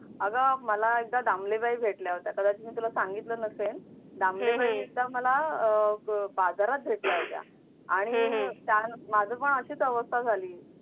अगं मला एकदा दामले बाई भेटल्या होत्या कदाचित मी तुला सांगितलं नसेल दामले बाई एकदा मला बाजारात भेटल्या होत्या आणि माझी पण अशीच अवस्था झाली